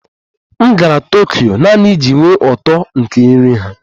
M gara Tokyo naanị iji nwee uto nke nri ha